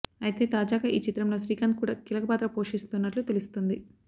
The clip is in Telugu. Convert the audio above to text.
అయితే తాజాగా ఈ చిత్రంలో శ్రీకాంత్ కూడా కీలక పాత్ర పోషిస్తున్నట్లు తెలుస్తుంది